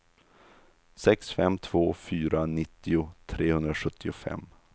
sex fem två fyra nittio trehundrasjuttiofem